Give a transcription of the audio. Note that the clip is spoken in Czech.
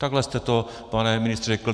Takhle jste to, pane ministře, řekl.